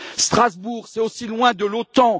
Strasbourg, c'est aussi loin de l'OTAN.